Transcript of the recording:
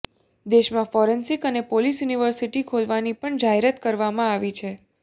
દેશમાં ફોરેન્સિક અને police university ખોલવાની પણ જાહેરાત કરવામાં આવી છે